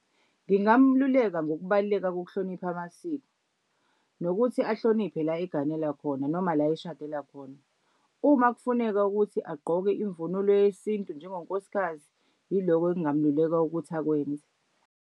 Ngingamluleka ngokubaluleka kokuhlonipha amasiko nokuthi ahloniphe la eganela khona noma la eshadela khona. Uma kufuneka ukuthi agqoke imvunulo yesintu njengonkosikazi yilokho engingamluleka ukuthi akwenze.